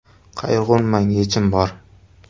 Qayg‘urmang, yechim bor!.